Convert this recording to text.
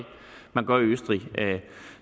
gør i østrig